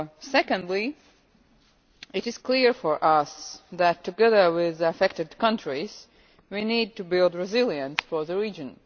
Secondly, it is clear for us that, together with affected countries, we need to build resilience for the region.